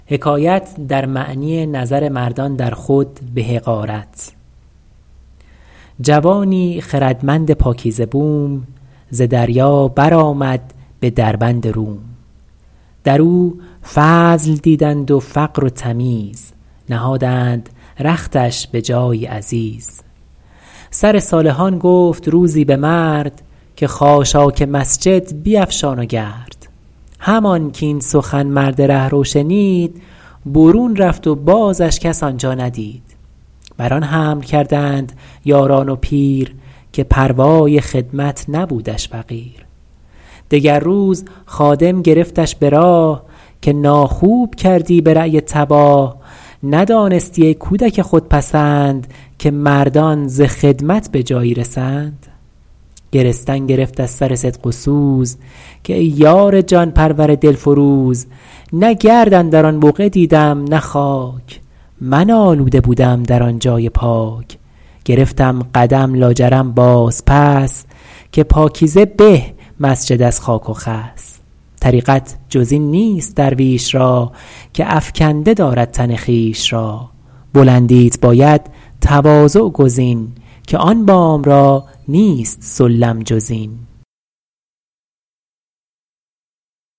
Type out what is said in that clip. جوانی خردمند پاکیزه بوم ز دریا بر آمد به دربند روم در او فضل دیدند و فقر و تمیز نهادند رختش به جایی عزیز سر صالحان گفت روزی به مرد که خاشاک مسجد بیفشان و گرد همان کاین سخن مرد رهرو شنید برون رفت و بازش کس آنجا ندید بر آن حمل کردند یاران و پیر که پروای خدمت نبودش فقیر دگر روز خادم گرفتش به راه که ناخوب کردی به رای تباه ندانستی ای کودک خودپسند که مردان ز خدمت به جایی رسند گرستن گرفت از سر صدق و سوز که ای یار جان پرور دلفروز نه گرد اندر آن بقعه دیدم نه خاک من آلوده بودم در آن جای پاک گرفتم قدم لاجرم باز پس که پاکیزه به مسجد از خاک و خس طریقت جز این نیست درویش را که افکنده دارد تن خویش را بلندیت باید تواضع گزین که آن بام را نیست سلم جز این